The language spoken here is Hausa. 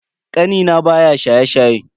Kanina baya shaye-shaye.